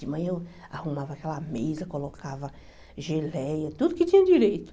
De manhã eu arrumava aquela mesa, colocava geleia, tudo que tinha direito.